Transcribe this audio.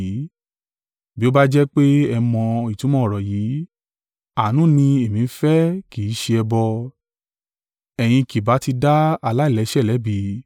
Bí ó bá jẹ́ pé ẹ mọ ìtumọ̀ ọ̀rọ̀ yìí, ‘Àánú ni èmi ń fẹ́ kì í ṣe ẹbọ,’ ẹ̀yin kì bá tí dá aláìlẹ́ṣẹ̀ lẹ́bi.